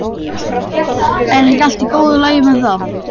Er ekki allt í góðu lagi með það?